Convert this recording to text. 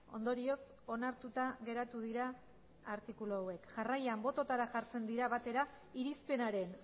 ondorioz onartuta geratu dira artikulu hauek jarraian botoetara jartzen dira batera irizpenaren